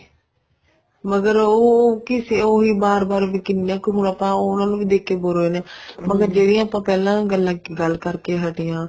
ਮਗਰ ਉਹ ਕਿਸੇ ਉਹੀ ਬਾਰ ਬਾਰ ਹੁਣ ਆਪਾਂ ਉਹਨਾ ਨੂੰ ਵੀ ਦੇਖ ਕੇ bore ਹੋ ਜਾਂਦੇ ਹਾਂ ਮਤਲਬ ਜਿਹੜੀ ਆਪਾਂ ਪਹਿਲਾਂ ਗੱਲ ਕਰਕੇ ਹਟੇ ਹਾਂ